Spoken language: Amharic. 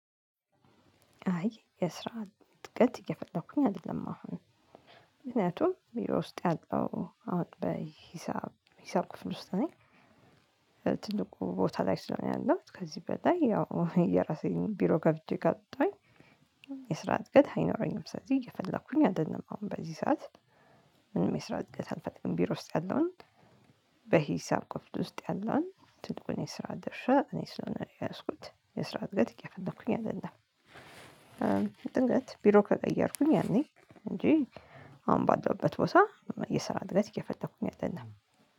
አይ የስራ ጥብቀት እየፈለኩኝ አይደለም አሁን ምክንያቱም ውስጥ ያለው አሁን በሂሳብ ሂሳብ ክፍል ውስጥ ነኝ። ትልቁ ቦታ ላይ ስለሆነ ያለው ከዚህ በላይ ያው የራሴን ቢሮ ከፍቼ ከጠየኩኝ። የስራ እድገት አይኖረኝም ስለዚህ እየፈለኩኝ አይደለም አሁን በዚህ ሰዓት። ምንም የሰራው እድገት አላገኝም ቢሮ ውስጥ ያለውን። በሂሳብ ክፍል ውስጥ ያለውን ትልቁን የስራ ደርሻ እኔ ስለሆነ የያዝኩት የስራ እድገት የፈለኩኝ አይደለም። ድንገት ቢሮ ከቀየርኩኝ ያኔ እንጂ አሁን ባለሁበት ቦታ የስራ እድገት እየፈለኩኝ አይደለም።